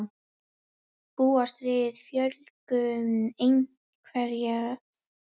Búast við fjölgun einhverfra